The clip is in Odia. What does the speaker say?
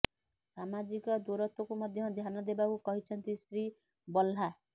ସାମାଜିକ ଦୂରତ୍ୱକୁ ମଧ୍ୟ ଧ୍ୟାନ ଦେବାକୁ କହିଛନ୍ତି ଶ୍ରୀ ଭଲ୍ଲା